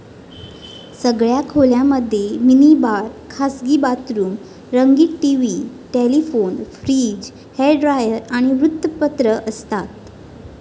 सगळ्या खोल्यांमध्ये mini bar, खासगी बाथरूम, रंगीत TV, telephone, fridge, hair dryer, आणि वृत्तपत्र असतात.